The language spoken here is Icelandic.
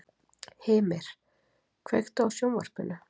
Hymir, kveiktu á sjónvarpinu.